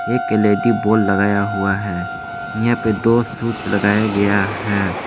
एक L E D bulb लगाया हुआ है इहां पे दो स्विच लगाया गया है।